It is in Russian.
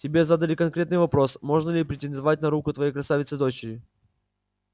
тебе задали конкретный вопрос можно ли претендовать на руку твоей красавицы-дочери